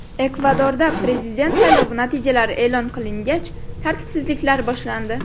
Ekvadorda prezident saylovi natijalari e’lon qilingach, tartibsizliklar boshlandi .